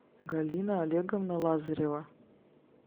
галина олеговна лазарева